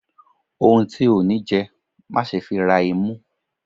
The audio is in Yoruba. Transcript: ohún tí o ní jẹ, má sé fí rá imú